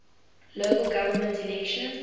local government elections